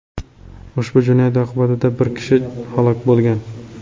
Ushbu jinoyat oqibatida bir kishi halok bo‘lgan.